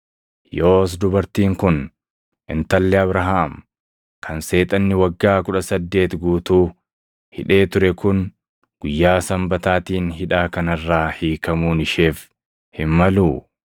Yoos dubartiin kun intalli Abrahaam kan Seexanni waggaa kudha saddeeti guutuu hidhee ture kun guyyaa Sanbataatiin hidhaa kana irraa hiikamuun isheef hin maluu?”